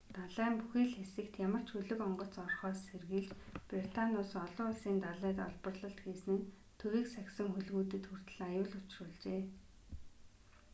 далайн бүхий л хэсэгт ямар ч хөлөг онгоц орохоос сэргийлж британи улс олон улсын далайд олборлолт хийсэн нь төвийг сахисан хөлгүүдэд хүртэл аюул учруулжээ